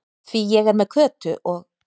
Því ég er með Kötu og